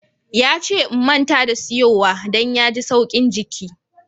Ya ce n'manta da tsiyowa. Dan ya hi tsaukin jiki.